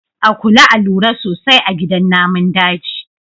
A kula a lura sosai a gidan namun daji.